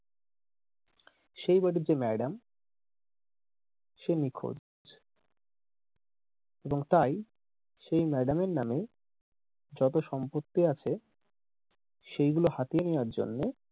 সেই বাড়িটির ম্যাডাম সে নিখোঁজ এবং তাই সেই ম্যাডাম এর নামে যত সম্পত্তি আছে সেই গুলো হাতিয়ে নেয়ার জন্যে,